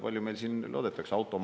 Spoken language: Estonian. Palju meil siin loodetakse?